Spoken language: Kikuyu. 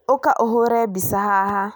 Ũka ũhũre mbica haha